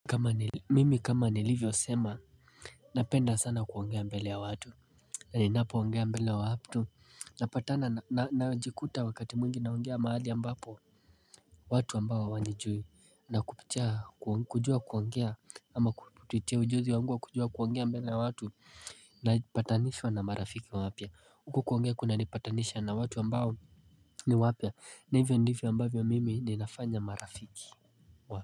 Mimi kama nilivyo sema napenda sana kuongea mbele ya watu. Na ninapo ongea mbele wa watu napatana najikuta wakati mwingi naongea mahali ambapo watu ambao wanijui na kupitia kujua kuongea ama kupitia ujuzi wangu wa kujua kuongea mbele ya watu. Na ipatanishwa na marafiki wapya huku kuongea kuna nipatanisha na watu ambao ni wapya na hivyo ndivyo ambavyo mimi ninafanya marafiki wa.